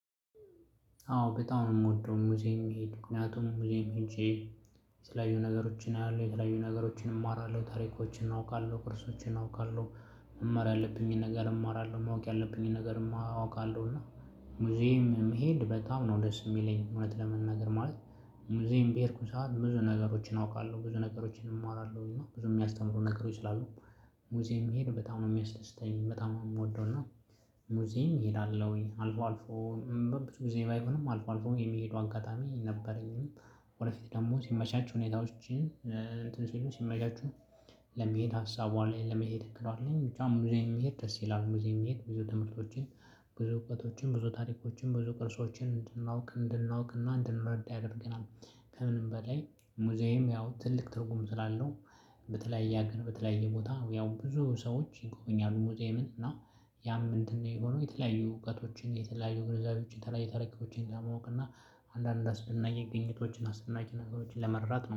አዎ በጣም ነው የምወደው ሙዚየም መሄድ ምክንያቱም ሙዚየም ሄጄ የተለያዩ ነገሮችን አያለሁ የተለያዩ ነገሮችን እማራለሁ ታሪኮችን አውቃለሁ ኮርሶችን አውቃለሁ። መማር ያለብኝን ነገር እማራለሁ ማወቅ ያለብኝን ነገር ማወቅ አለው። እና ሙዚየም መሄድ በጣም ነው ደስ የሚለኝ እውነት ለመናገር ማለት። ሙዚየም በሄድኩ ሰዓት ብዙ ነገሮችን አውቃለሁ ብዙ ነገሮችን እማራለሁኝ እና ብዙ የሚያስተምሩ ነገሮች ስላሉ። ሙዚየም መሄድ በጣም ነው ሚያስደስተኝ በጣም ነው ምወደው እና። ሙዝየም እሄዳለሁኝ አልፎ አልፎን በብዙ ጊዜ ባይሆንም አልፎ አልፎ የሚሄደው አጋጣሚ ነበረኝ። ወደፊት ደግሞ ሲመቻችሁ ሁኔታዎችን እንትን ሲሉ ሲመቻቹ። ለመሄድ ሀሳቡ አለኝ ለመሄድ እክለዋለን ብቻ ሙዚየም መሄድ ደስ ይላል። ሙዚየም መሄድ ብዙ ትምህርቶችን ብዙ እውቀቶችን ብዙ ታሪኮችን ብዙ ቅርሶችን እንድናውቅ እንድናውቅና እንድንረዳ ያደርገናል። ከምንም በላይ ሙዝየም ያው ትልቅ ትርጉም ስላለው። በተለያየ ሀገር በተለያየ ቦታ ያው ብዙ ሰዎች ይጎበኛሉ ሙዚየምን እና ያም እንትን ነው የሚሆነው የተለያዩ እውቀቶችን የተለያዩ ግንዛቤዎች ተለያይ ታረኪዎችን ለማወቅና አንዳንድ አስደናቂ ግንኙነቶችን አስደናቂ ነገሮችን ለመረዳት